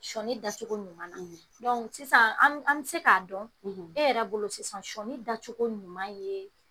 Sɔni dacogo ɲuman, , sisan an bɛ, an bɛ se k'a dɔn , e yɛrɛ bolo sisan sɔni dacogo ɲuman ye